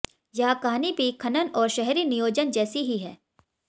यह कहानी भी खनन और शहरी नियोजन जैसी ही है